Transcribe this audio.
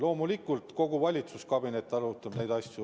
Loomulikult, kogu valitsuskabinet arutab neid asju.